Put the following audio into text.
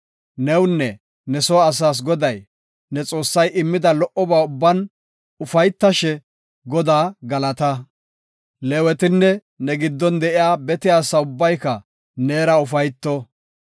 Newunne ne soo asaas Goday, ne Xoossay immida lo77oba ubban ufaytashe, Godaa galata. Leewetinne ne giddon de7iya bete asa ubbayka neera ufayto.